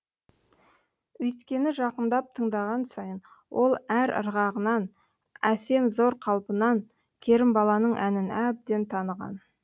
үйткені жақындап тыңдаған сайын ол әр ырғағынан әсем зор қалпынан керімбаланың әнін әбден таныған